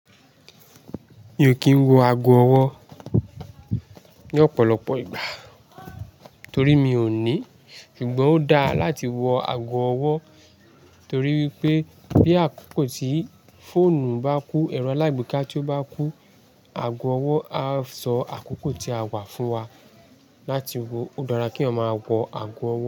Mi ò kí ń wọ ago ọwọ́ ní ọ̀pọ̀lọpọ̀ ìgbà torí mi ò ní. Ṣùgbọ́n ó dáa láti wọ ago ọwọ́ torí wípé bí àkókò tí fóònù bá kú, ẹ̀rọ alágbèéká tí ó bá kú, ago ọwọ́ a sọ àkókò tí a wà fún wa láti wọ. Ó dára kí èyàn máa wọ ago ọwọ́